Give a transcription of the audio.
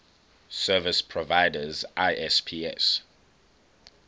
service providers isps